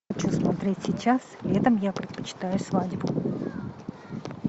хочу смотреть сейчас летом я предпочитаю свадьбу